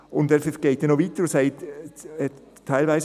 » Es geht noch weiter, er sagt dort: